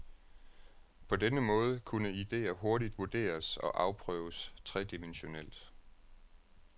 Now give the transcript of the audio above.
På denne måde kunne idéer hurtigt vurderes og afprøves tredimensionelt.